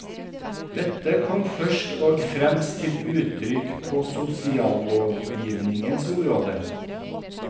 Dette kom først og fremst til uttrykk på sosiallovgivningens område.